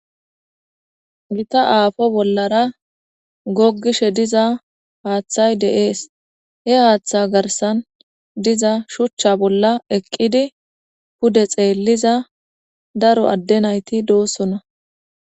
Gita aafo bollara goggishe diza haaththay de'ees he haaththa garsan diza shuchcha bolla eqqidi pude xeelliza daro adde nayti doossona.